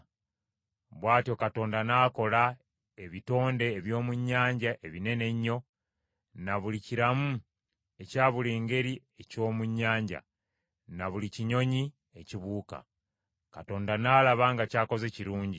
Bw’atyo Katonda n’akola ebitonde eby’omu nnyanja ebinene ennyo, na buli kiramu ekya buli ngeri eky’omu nnyanja, na buli kinyonyi ekibuuka. Katonda n’alaba nga ky’akoze kirungi.